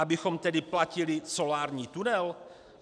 Abychom tedy platili solární tunel?